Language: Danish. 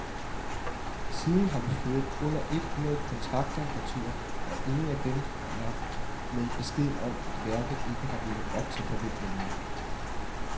Siden har vi fået under et hundrede kontrakter retur, og ingen af dem er med beskeden om, at værket ikke har levet op til forventningerne.